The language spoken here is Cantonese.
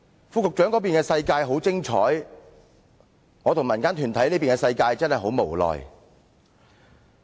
副局長那邊的世界很精彩，而我與民間團體這邊的世界卻真的很無奈。